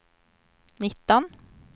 nitton